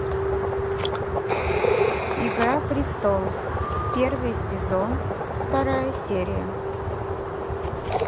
игра престолов первый сезон вторая серия